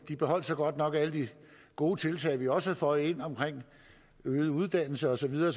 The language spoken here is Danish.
de beholdt så godt nok alle de gode tiltag vi også havde føjet ind om øget uddannelse og så videre